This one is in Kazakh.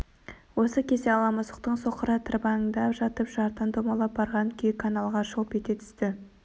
осы кезде ала мысықтың соқыры тырбаңдап жатып жардан домалап барған күйі каналға шолп ете түсті